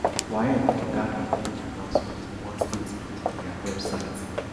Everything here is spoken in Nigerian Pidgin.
waec for ghana make di announcement for one statement on dia website